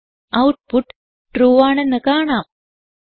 output true ആണെന്ന് കാണാം